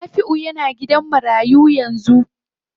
Nafiu yana gidan marayu yanzu.